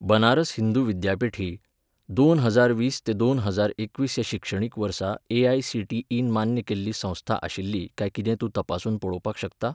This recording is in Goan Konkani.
बनारस हिंदू विद्यापीठ ही, दोन हजार वीस ते दोन हजार एकवीस ह्या शिक्षणीक वर्सा एआयसीटीई मान्य संस्था आशिल्ली काय कितें तें तूं तपासून पळोवपाक शकता?